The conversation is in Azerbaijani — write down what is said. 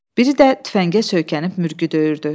Biri də tüfəngə söykənib mürgü döyüyürdü.